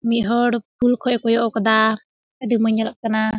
बीहड़ कुल कए एकदा दुमेर काना।